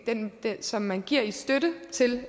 som man giver i støtte til